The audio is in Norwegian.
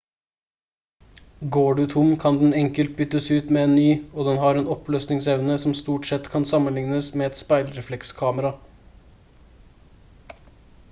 går du tom kan den enkelt byttes ut med en ny og den har en oppløsningsevne som stort sett kan sammenlignes med et speilreflekskamera